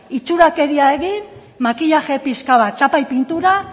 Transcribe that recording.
itxurakeria egin makillaje pixka bat chapa y pintura